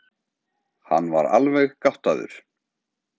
Hann var alveg gáttaður.